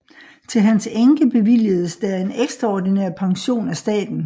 Til hans enke bevilgedes der en ekstraordinær pension af staten